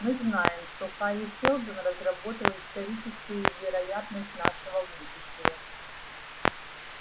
мы знаем что хари сэлдон разработал историческую вероятность нашего будущего